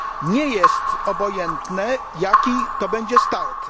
Nie jest obojętne, jaki to będzie start.